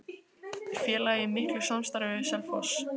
Er félagið í miklu samstarfi við Selfoss?